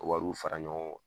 Wariw fara ɲɔgɔn kan